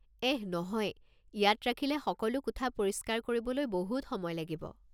এহ নহয়, ইয়াত ৰাখিলে সকলো কোঠা পৰিষ্কাৰ কৰিবলৈ বহুত সময় লাগিব!